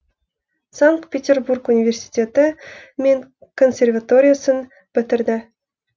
санкт петербург университеті мен консерваториясын бітірді